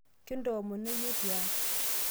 kintoomono iyie tiang'